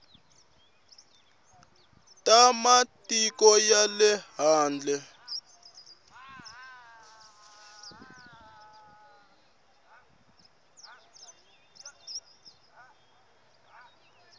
ta matiko ya le handle